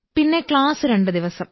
പിന്നെ ക്ലാസ്സ് രണ്ടു ദിവസം